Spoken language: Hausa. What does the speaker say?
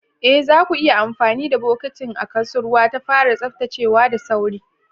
Ee, zaku iya amfani da bokatin a kusurwa don fara tsaftacewa da sauri.